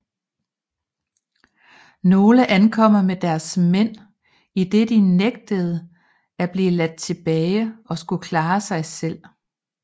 Nogle ankom med deres mænd idet de nægtede at blive ladt tilbage og skulle klare sig selv